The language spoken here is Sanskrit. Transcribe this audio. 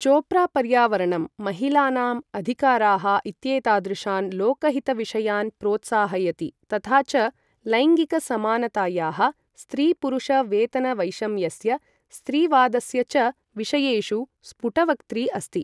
चोप्रा पर्यावरणं, महिलानाम् अधिकाराः इत्येतादृशान् लोकहित विषयान् प्रोत्साहयति, तथा च लैङ्गिक समानतायाः, स्त्रीपुरुष वेतन वैषम्यस्य, स्त्रीवादस्य च विषयेषु स्फुटवक्त्री अस्ति।